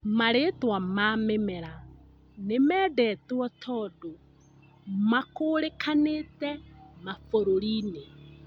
marĩtwa ma mĩmera nĩmendetwo tondũ makũũrĩkanĩte mabũrũri-inĩ